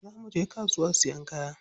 Za muje kasuwa siyan kaya.